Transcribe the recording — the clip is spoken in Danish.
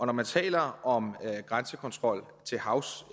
når man taler om grænsekontrol til havs